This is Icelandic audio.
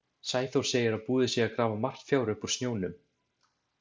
Sæþór segir að búið sé að grafa margt fjár upp úr snjónum.